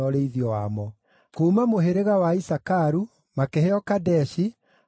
Kuuma mũhĩrĩga wa Isakaru makĩheo Kadeshi, na Daberathu,